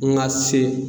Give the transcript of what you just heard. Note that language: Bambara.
N ka se